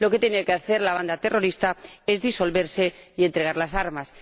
Lo que tiene que hacer la banda terrorista es disolverse y entregar las armas.